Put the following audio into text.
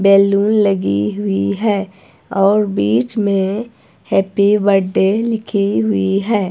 Balloon लगी हुई है और बीच में हैप्पी बडडे लिखी हुई है।